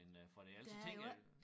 End øh for det ellers så tænker jeg